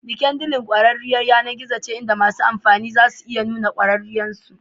LinkedIn ƙwararriyar rukunin yAnar gizon ce inda masu amfani za su iya nuna ƙwarewar su